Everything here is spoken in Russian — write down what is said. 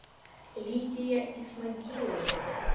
лидия исмагилова